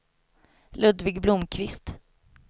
Ludvig Blomkvist